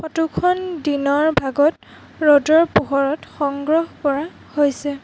Photo খন দিনৰ ভাগত ৰ'দৰ পোহৰত সংগ্ৰহ কৰা হৈছে।